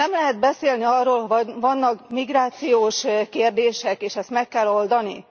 Nem lehet beszélni arról, hogy vannak migrációs kérdések és ezt meg kell oldani?